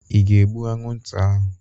Ị ga-egbu anwụnta ahụ?